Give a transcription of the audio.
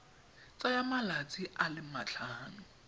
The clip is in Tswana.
tsaya malatsi a le matlhano